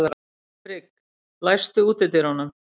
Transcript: Frigg, læstu útidyrunum.